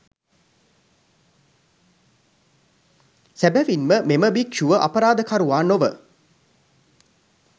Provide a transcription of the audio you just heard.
සැබවින්ම මෙම භික්ෂුව අපරාධකරුවා නොව